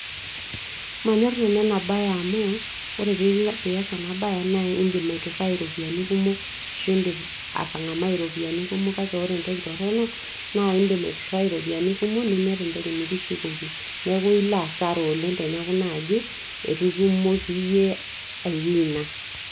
Manyor nanu enabae amu ore pilo pias ena bae naindim aiturai iropiyiani kumok, ashu indim atangamai ropiyiani kumok ,kake ore entoki toronok na indim aiminie ropiyiani inonok nemeeta entoki nikishukoki, neaku ilo asara along teneaku itutumoki iyie ai wina